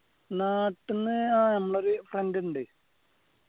നാട്ടിന്ന് ആഹ് നമ്മളെ ഒരു friend ഉണ്ട്